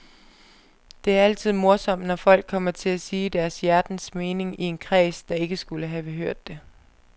Det er altid morsomt, når folk kommer til at sige deres hjertens mening i en kreds, der ikke skulle have hørt det.